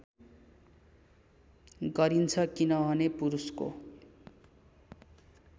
गरिन्छ किनभने पुरुषको